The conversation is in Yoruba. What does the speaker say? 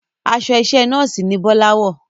Aṣọ iṣẹ́ nọ́ọ̀sì ni Bọ́lá wọ̀